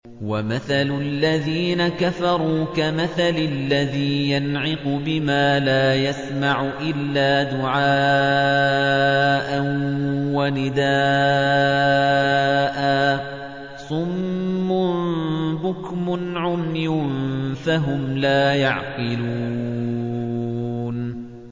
وَمَثَلُ الَّذِينَ كَفَرُوا كَمَثَلِ الَّذِي يَنْعِقُ بِمَا لَا يَسْمَعُ إِلَّا دُعَاءً وَنِدَاءً ۚ صُمٌّ بُكْمٌ عُمْيٌ فَهُمْ لَا يَعْقِلُونَ